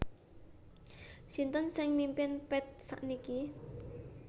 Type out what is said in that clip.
Sinten sing mimpin Path sakniki